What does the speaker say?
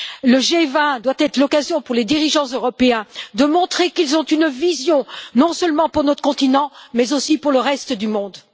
Le G20 doit être l'occasion pour les dirigeants européens de montrer qu'ils ont une vision, non seulement pour notre continent, mais aussi pour le reste du monde.